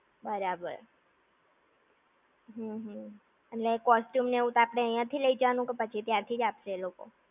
બરાબર. હમ્મ હમ્મ. અને costume ને એવું આપણે આઇયા થી લઇ જવાનું કે પછી ત્યાંથી જ આપશે એલોકો.